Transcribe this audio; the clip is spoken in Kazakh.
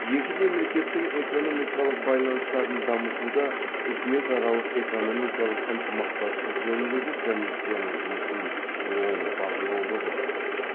екі мемлекеттің экономикалық байланыстарын дамытуда үкіметаралық экономикалық ынтымақтастық жөніндегі комиссияның жұмысын оң бағалауға болады